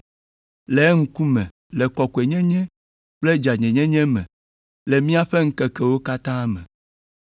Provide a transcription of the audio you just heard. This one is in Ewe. le eŋkume le kɔkɔenyenye kple dzɔdzɔenyenye me le míaƒe ŋkekewo katã me.